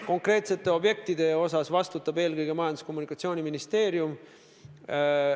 Konkreetsete objektide eest vastutab eelkõige Majandus- ja Kommunikatsiooniministeerium.